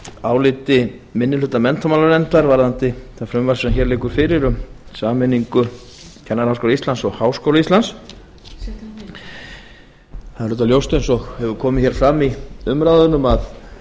áliti minni hluta menntamálanefndar varðandi það frumvarp sem hér liggur fyrir um sameiningu kennaraháskóla íslands og háskóla íslands það er ljóst eins og komið hefur fram í umræðunum að